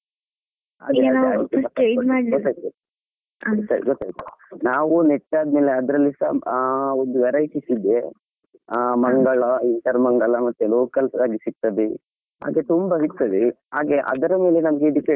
ಗೊತ್ತಾಯ್ತು ಗೊತ್ತಾಯ್ತು ನಾವು ನೆಟ್ಟಾದ್ಮೇಲೆ ಅದರಲ್ಲಿ ಸಾ ಆ ಒಂದ್ varieties ಇದೆ ಮಂಗಳಾ ಇತರಾ ಮಂಗಳಾ ಮತ್ತೆ local ಸಾ ಸಿಕ್ತದೆ ಹಾಗೆ ತುಂಬಾ ಸಿಕ್ತದೆ ಹಾಗೆ ಅದರ ಮೇಲೆ ನಮ್ಗೆ depend ಆಗ್ಲಿಕ್ಕೆ.